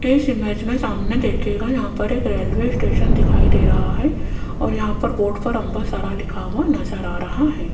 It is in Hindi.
इस इमेज में सामने देखिएगा यहां पर एक रेलवे स्टेशन दिखाई दे रहा है और यहां पर बोर्ड पर अंबा सारा लिखा हुआ नजर आ रहा है।